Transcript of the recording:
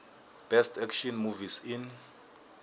best action movies in